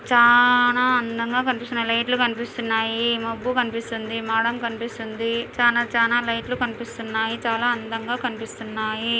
చాన అందంగా కనిపిస్తున్నాయి లైట్ లు కనిపిస్తున్నాయి మబ్బు కనిపిస్తుంది మడం కనిపిస్తుంది చాన చాన లైట్ లు కనిపిస్తున్నాయి చాల అందగా కనిపిస్తున్నాయి.